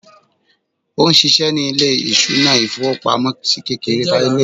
òun sìsé ní ilé ìṣúná ifowopamọsí kékeré